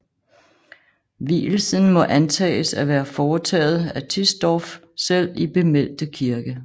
Vielsen må antages at være foretaget af Tisdorph selv i bemeldte kirke